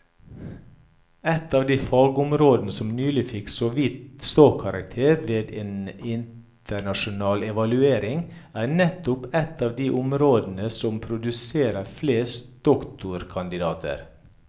Et av de fagområder som nylig fikk såvidt ståkarakter ved en internasjonal evaluering, er nettopp et av de områdene som produserer flest doktorkandidater.